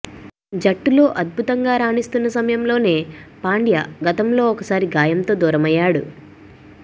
జట్టులో అద్భుతంగా రాణిస్తున్న సమయంలోనే పాండ్య గతంలో ఒకసారి గాయంతో దూరమయ్యాడు